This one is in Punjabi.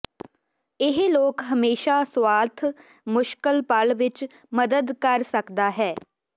ਇਹ ਲੋਕ ਹਮੇਸ਼ਾ ਸੁਆਰਥ ਮੁਸ਼ਕਲ ਪਲ ਵਿੱਚ ਮਦਦ ਕਰ ਸਕਦਾ ਹੈ